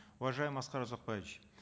уважаемый аскар узакбаевич